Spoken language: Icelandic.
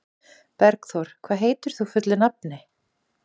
Bergþór, hvað heitir þú fullu nafni?